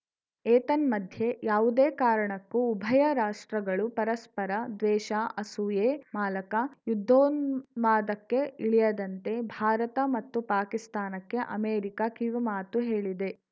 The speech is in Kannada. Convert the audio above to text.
ಏತನ್ಮಧ್ಯೆ ಯಾವುದೇ ಕಾರಣಕ್ಕೂ ಉಭಯ ರಾಷ್ಟ್ರಗಳು ಪರಸ್ಪರ ದ್ವೇಷ ಅಸೂಯೆ ಮಾಲಕ ಯುದ್ಧೋನ್ಮಾದಕ್ಕೆ ಇಳಿಯದಂತೆ ಭಾರತ ಮತ್ತು ಪಾಕಿಸ್ತಾನಕ್ಕೆ ಅಮೆರಿಕ ಕಿವಿಮಾತು ಹೇಳಿದೆ